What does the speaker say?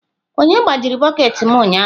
Onye gbajiri bọket m ụnyahụ?